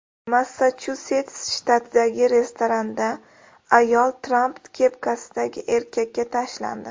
Massachusets shtatidagi restoranda ayol Tramp kepkasidagi erkakka tashlandi .